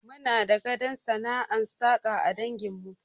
Muna da gadon sana'ar saƙa a dangin mu